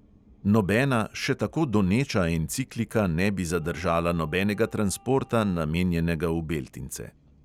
Nobena še tako doneča enciklika ne bi zadržala nobenega transporta, namenjenega v beltince.